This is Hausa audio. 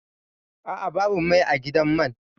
A'a, babu mai a gidan man